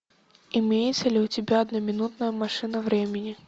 имеется ли у тебя одноминутная машина времени